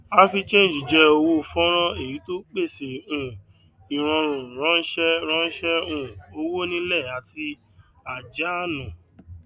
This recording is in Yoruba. africhange jẹ owó fọnrán èyí tó pèsè um ìrọrùn ránṣẹ ránṣẹ um owó nílé àti àjáánu